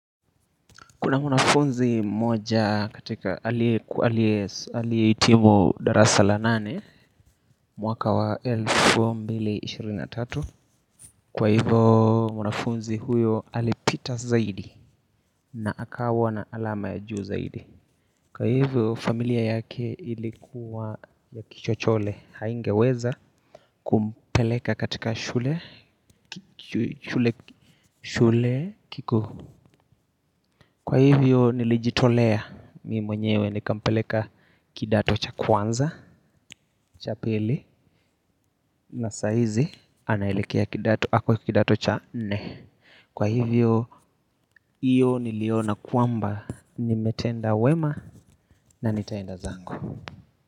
Kuna mwanafunzi mmoja katika aliyehitimu darasa la nane mwaka wa elfu mbili ishirini na tatu kwa hivyo mwanafunzi huyo alipita zaidi na akawa na alama ya juu zaidi kwa hivyo familia yake ilikuwa ya kichochole haingeweza kumpeleka katika shule kikuu. Kwa hivyo nilijitolea mimi mwenyewe nikampeleka kidato cha kwanza, cha pili na saa hizi anaelekea kidato ako kidato cha nne. Kwa hivyo hiyo niliona kwamba nimetenda wema na nitaenda zangu.